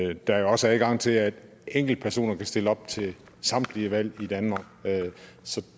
der jo også er adgang til at enkeltpersoner kan stille op til samtlige valg i danmark så